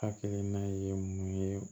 Hakilina ye mun ye